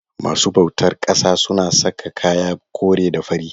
masu bautar ƙasa suna saka kaya kore da fari.